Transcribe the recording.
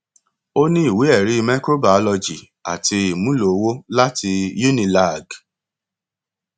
ó ní ìwéẹrí microbiology àti ìmúlò owó lati cs] unilag